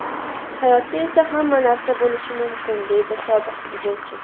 Hayotda esa hamma narsa bo‘lishi mumkin, deydi sobiq futbolchi.